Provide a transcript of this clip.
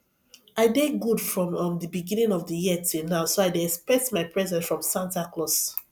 i dey good from um the beginning of the year till now so i dey expect my present from santa claus